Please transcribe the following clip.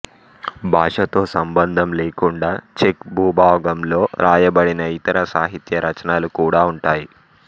భాషతో సంబంధం లేకుండా చెక్ భూభాగంలో వ్రాయబడిన ఇతర సాహిత్య రచనలు కాడా ఉంటాయి